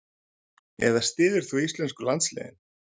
Eða styður þú íslensku landsliðin?